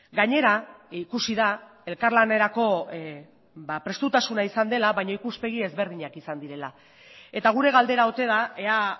gainera ikusi da elkarlanerako prestutasuna izan dela baina ikuspegi ezberdinak izan direla eta gure galdera ote da ea